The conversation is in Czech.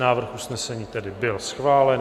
Návrh usnesení tedy byl schválen.